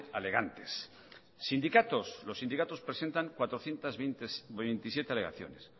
alegantes sindicatos los sindicatos presentan cuatrocientos veintisiete alegaciones